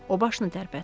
O başını tərpətdi.